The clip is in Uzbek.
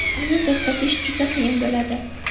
Uni to‘xtatish juda qiyin bo‘ladi.